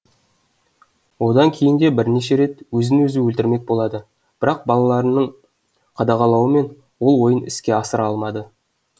одан кейін де бірнеше рет өзін өзі өлтірмек болады бірақ балаларының қадағалауымен ол ойын іске асыра алмады